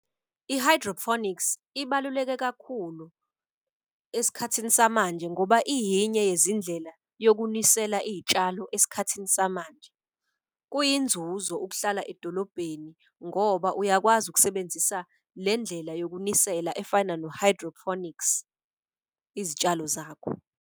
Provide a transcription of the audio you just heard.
I-hydroponics ibaluleke kakhulu esikhathini samanje ngoba iyinye yezindlela yokunisela iy'tshalo esikhathini samanje. Kuyinzuzo ukuhlala edolobheni ngoba uyakwazi ukusebenzisa le ndlela yokunisela efana no-hydroponics. Izitshalo zakho.